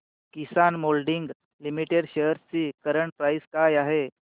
किसान moulding limited shares ची current price काय आहे